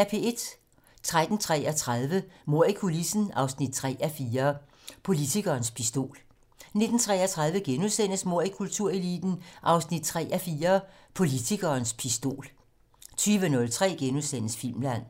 13:33: Mord i kultureliten 3:4 - Politikerens pistol 19:33: Mord i kultureliten 3:4 - Politikerens pistol * 20:03: Filmland *